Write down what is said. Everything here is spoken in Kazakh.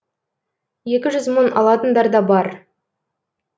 екі жүз мың алатындар да бар